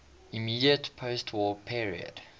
immediate postwar period